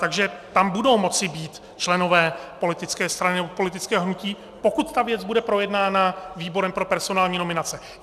Takže tam budou moci být členové politické strany nebo politického hnutí, pokud ta věc bude projednána výborem pro personální nominace.